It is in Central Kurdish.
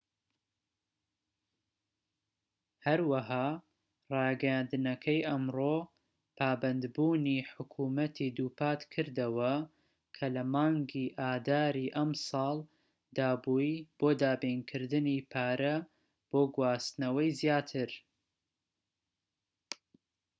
هەروەها ڕاگەیاندنەکەی ئەمڕۆ پابەندبوونی حکومەتی دووپات کردەوە کە لە مانکی ئاداری ئەم ساڵ دابووی بۆ دابینکردنی پارە بۆ گواستنەوەی زیاتر